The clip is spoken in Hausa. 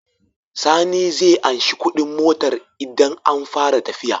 Sani zai anshi Ƙudin motar idan an fara tafiya